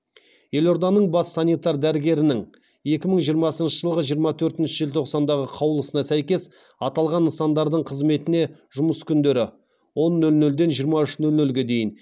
елорданың бас санитар дәрігерінің екі мың жиырмасыншы жылғы жиырма төртінші желтоқсандағы қаулысына сәйкес аталған нысандардың қызметіне жұмыс күндері он нөл нөлден жиырма үш нөл нөлге дейін